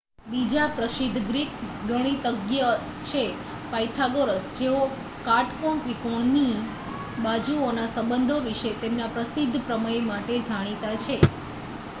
બીજા પ્રસિદ્ધ ગ્રીક ગણિતજ્ઞ છે પાયથાગોરસ જેઓ કાટકોણ ત્રિકોણોની બાજુઓના સંબંધો વિશે તેમના પ્રસિદ્ધ પ્રમેય માટે જાણીતા છે